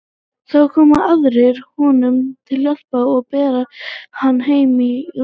Þá koma aðrir honum til hjálpar og bera hann heim í rúm.